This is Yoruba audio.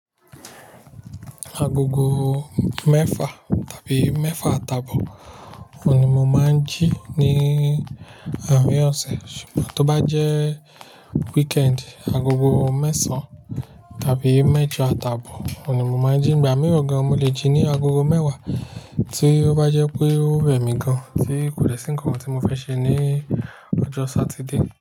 Agogo mẹ́fà tàbí mẹ́fà àtabò ni mo máa ń jí ní àrin ọ̀sẹ̀. Ṣùgbọ́n tó bá jẹ́ weekend, agogo mẹ́sàn-án tàbí mẹ́jọ àtabò ni mo máa ń jí. Ìgbà mìíràn gan-an, mo lè jí ní agogo mẹ́wàá tí ó bá jẹ́ pé ó rẹ̀ mí gan-an tí kò dè sì nkankan tí mo fẹ́ ṣe ní ọjọ́ Saturday.